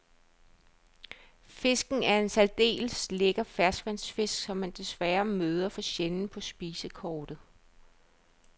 Fisken er en særdeles lækker ferskvandsfisk, som man desværre møder for sjældent på spisekortet.